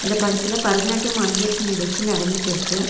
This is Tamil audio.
இந்த படத்துல பரதநாட்டியம் அரங்கேற்ற நிகழ்ச்சி நடந்துட்ருக்கு.